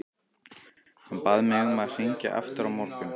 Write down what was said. Hann bað mig að hringja aftur á morgun.